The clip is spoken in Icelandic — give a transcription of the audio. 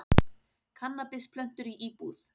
Kannabisplöntur í íbúð